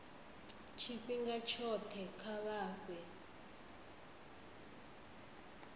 tshifhinga tshothe kha vha fhe